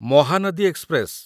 Mahanadi express